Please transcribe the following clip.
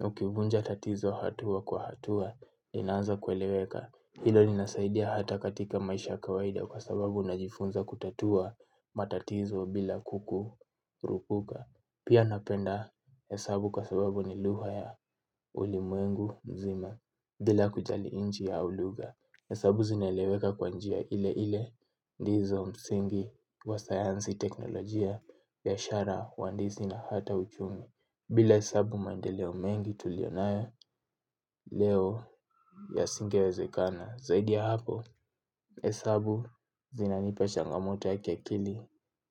Ukivunja tatizo hatua kwa hatua, linaanza kueleweka. Hilo linasaidia hata katika maisha kawaida kwa sababu unajifunza kutatua matatizo bila kukurupuka. Pia napenda hesabu kwa sababu ni lugha ya ulimwengu mzima bila kujali nchi au lugha. Hesabu zinaeleweka kwa njia ile ile ndizo msingi wa sayansi teknolojia biashara uhandishi na hata uchumi. Bila hesabu mandeleo mengi tulionayo leo yasingewezekana. Zaidi ya hapo, hesabu zinanipa changamoto ya kia kili.